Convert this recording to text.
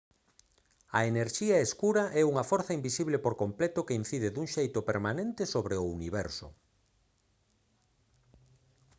a enerxía escura é unha forza invisible por completo que incide dun xeito permanente sobre o universo